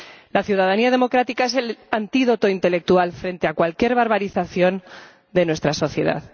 La ciudadanía democrática es el antídoto intelectual frente a cualquier barbarización de nuestra sociedad.